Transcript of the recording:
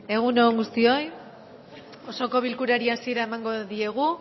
egun on guztioi osoko bilkurari hasiera emango diogu